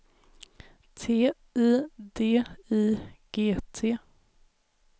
T I D I G T